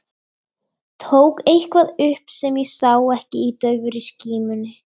Tók eitthvað upp sem ég sá ekki í daufri skímunni.